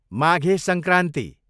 Maghe Sankranti